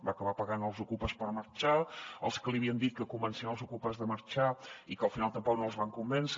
va acabar pagant els ocupes per marxar els que li havien dit que convencien els ocupes de marxar i que al final tampoc no els van convèncer